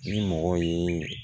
Ni mɔgɔw ye